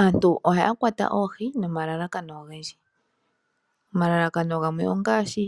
Aantu ohaya kwata oohi nomalalakano ogendji. Omalalakano gamwe ongaashi